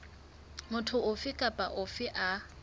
motho ofe kapa ofe a